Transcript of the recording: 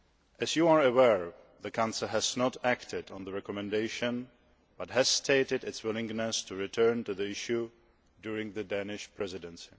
As you are aware, the Council has not acted on the recommendation but has stated its willingness to return to the issue during the Danish Presidency.